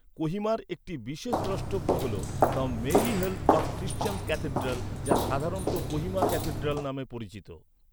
কোহিমার একটি বিশেষ দ্রষ্টব্য হল the Mary help of Christians cathedral, যা সাধারণত কোহিমা ক্যাথেড্রাল নামে পরিচিত।